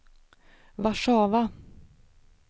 Warszawa